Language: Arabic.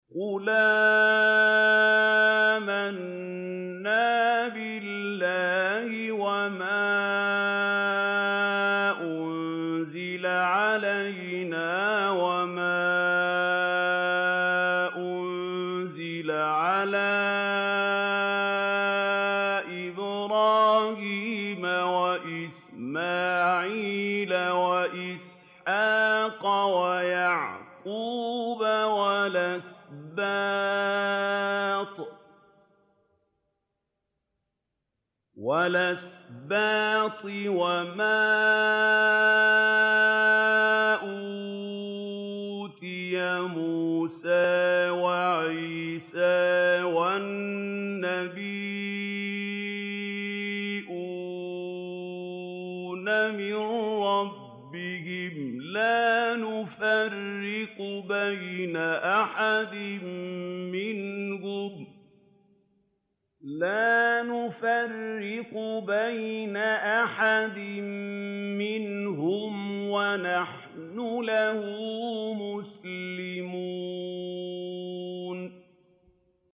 قُلْ آمَنَّا بِاللَّهِ وَمَا أُنزِلَ عَلَيْنَا وَمَا أُنزِلَ عَلَىٰ إِبْرَاهِيمَ وَإِسْمَاعِيلَ وَإِسْحَاقَ وَيَعْقُوبَ وَالْأَسْبَاطِ وَمَا أُوتِيَ مُوسَىٰ وَعِيسَىٰ وَالنَّبِيُّونَ مِن رَّبِّهِمْ لَا نُفَرِّقُ بَيْنَ أَحَدٍ مِّنْهُمْ وَنَحْنُ لَهُ مُسْلِمُونَ